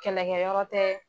Kɛlɛkɛ yɔrɔ tɛ.